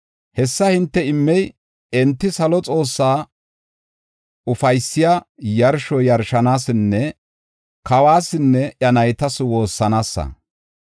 Hessa hinte immey enti salo Xoossaa ufaysiya yarsho yarshanaasanne kawuwasinne iya naytas woossanaasa.